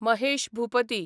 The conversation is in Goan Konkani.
महेश भुपती